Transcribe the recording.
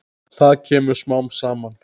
Það kemur smám saman.